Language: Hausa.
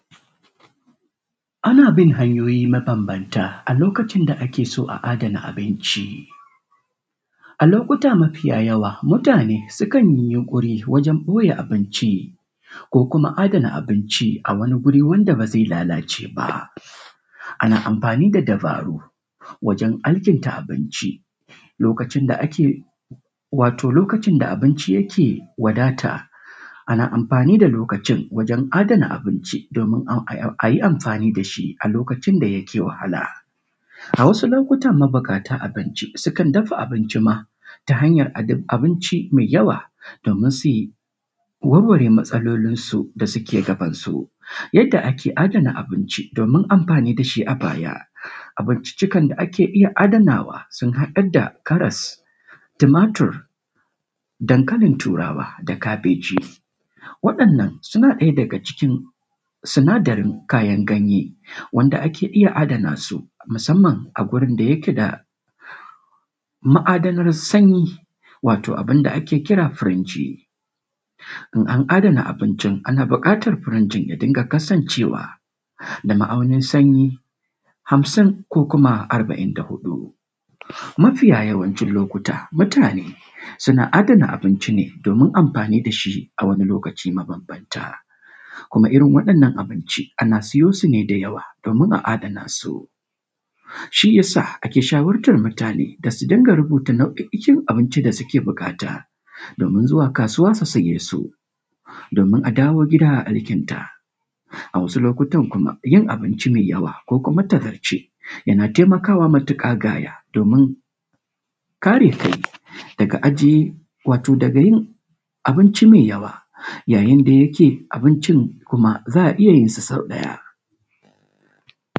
Ana bin hanyoyi mabambanta a lokacin da ake so a adana abinci. A lokuta mafi yawa mutane sukan yi yinƙuri wajen ɓoye abinci ko kuma adana abinci a wani wuri wanda ba zai lalace ba. Ana amfani da dabaru wajen alkinta abinci lokacin da ake wato lokacin da abinci yake wadata, ana amfani da lokacin wajen adana abinci donin a yi amfani da shi a lokacin da yake wahala.a wasu lokuta mabuƙata abinci sukan dafa abinci ma mai yawa domin su warware matsalolinsu da suke gabansu. Yadda ake adana abinci donin amfani da shi a baya, abincikan da ake iya adanawa sun haɗa da karas da tumatur da dankalin turawa da kabeji. Waɗannan suna daga cikin sinadarin kayan ganye wanda ake iya adana su musamma a gurin da yake da ma'adanar sanyi wato abun da ake kira firiji .in an adana abiy ana bukatar firiji ɗin ya dinga kasancewa da ma'aunin sanyi hansun ko kima arba'in da huɗu. Magiya yawancin lokuta mutane suna adana abinci ne domin amfani da a shi a wsu lokuta mabambanta kuma irin waɗannan abinci ana sayo su ne da yawa domin a. Adana su, shi ya sa ake shawartar mutane da su rinƙa rubuta nau'o'in abincin da suke buƙatar domin zuwa kasuwa su saye su, domin a dawo gida a alkinta. A wasu lokuta kuma yin abinci mai yawa ko kuma tazarce yana taimakawa matuka gaya domin kare daga yin abinci mai yawa yayin da ya ke abincin za a iya yin sa sau ɗaya.